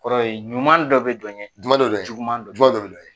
Kɔrɔ ye ɲuman dɔ bɛ dɔɲɛ nka juguman dɔ de be.